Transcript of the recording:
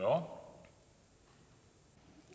om